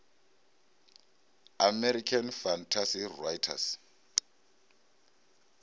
american fantasy writers